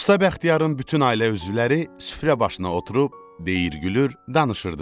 Usta Bəxtiyarın bütün ailə üzvləri süfrə başına oturub, deyir, gülür, danışırdılar.